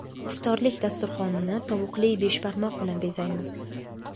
Iftorlik dasturxonini tovuqli beshbarmoq bilan bezaymiz.